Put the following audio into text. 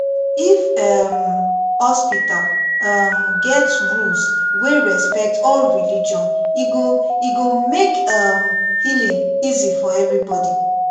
if um hospital um get rules wey respect all religion e go e go make um healing easy for everybody